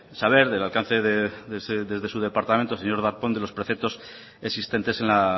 saber del alcance desde su departamento señor darpón de los preceptos existentes en la